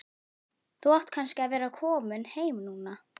Þú átt kannski að vera kominn heim núna.